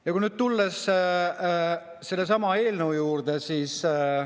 Ja nüüd tulen sellesama eelnõu juurde.